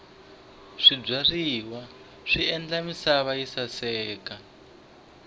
swibyariwa swi endla misava yi saseka